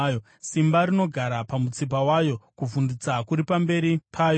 Simba rinogara pamutsipa wayo; kuvhundutsa kuri pamberi payo.